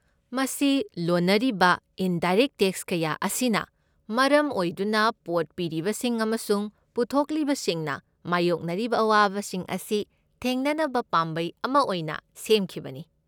ꯃꯁꯤ ꯂꯣꯟꯅꯔꯤꯕ indirect tax ꯀꯌꯥ ꯑꯁꯤꯅ ꯃꯔꯝ ꯑꯣꯏꯗꯨꯅ ꯄꯣꯠ ꯄꯤꯔꯤꯕꯁꯤꯡ ꯑꯃꯁꯨꯡ ꯄꯨꯊꯣꯛꯂꯤꯕꯁꯤꯡꯅ ꯃꯥꯌꯣꯛꯅꯔꯤꯕ ꯑꯋꯥꯕꯁꯤꯡ ꯑꯁꯤ ꯊꯦꯡꯅꯅꯕ ꯄꯥꯝꯕꯩ ꯑꯃ ꯑꯣꯏꯅ ꯁꯦꯝꯈꯤꯕꯅꯤ꯫